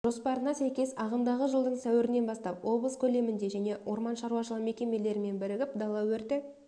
жоспарына сәйкес ағымдағы жылдың сәуірінен бастап облыс көлемінде және орман шаруашылығы мекемелерімен бірігіп дала өрті